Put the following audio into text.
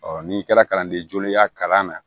n'i kɛra kalanden jolenya kalan na